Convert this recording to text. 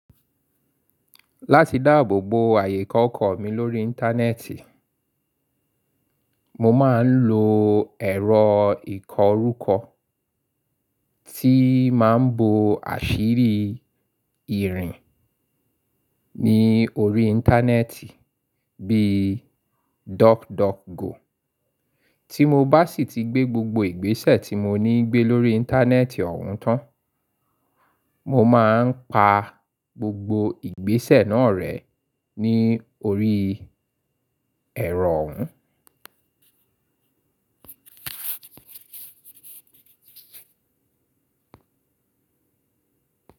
Láti dáàbò bo ààyè kọ̀ọ̀kan mi lórí Íńtánẹ́ẹ̀tì, mo máa ń lo ẹ̀rọ ìkọrúkọ tí máa ń bo àṣírí ìrìn ní orí Íńtánẹ́ẹ̀tì bí i DuckDuckGo. Tí mo bá sì ti gbé gbogbo ìgbésẹ̀ tí mo ní gbé lórí Íńtánẹ́ẹ̀tì ọ̀hun tán, mo máa ń pa gbogbo ìgbésẹ̀ náà rẹ́ ní orí ẹ̀rọ òún.